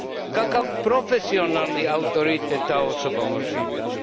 Kakav profesionalni autoritet ta osoba može imati?